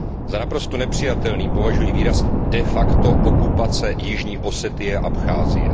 Za naprosto nepřijatelný považuji výraz de facto okupace Jižní Osetie a Abcházie.